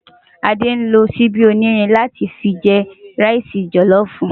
Ade nló ṣìbi ónírìn látì fi jè ìrẹsì jòlòfú